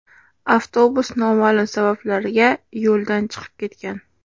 Avtobus noma’lum sabablarga yo‘ldan chiqib ketgan.